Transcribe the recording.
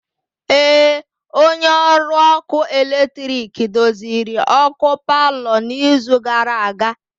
Ee, onye ọrụ ọkụ eletrik doziri ọkụ palọ n'izu gara aga.